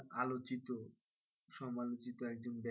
আলোচিত সমালোচিত একজন ব্যক্তি,